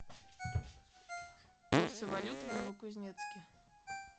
курсы валют в новокузнецке